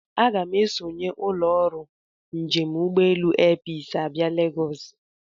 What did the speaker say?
Aga m esonye ụlọ ọrụ njem ụgbọelu Airpeace abịa Legosi.